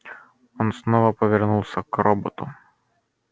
он снова повернулся к роботу